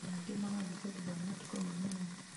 na angĩ magathikwo thutha wa matukũ manini